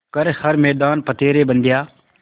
कर हर मैदान फ़तेह रे बंदेया